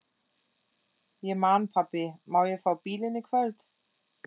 Ég man Pabbi, má ég fá bílinn í kvöld?